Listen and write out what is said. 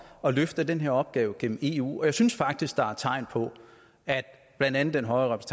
at løfte den opgave igennem eu og jeg synes faktisk der er tegn på at blandt andet den høje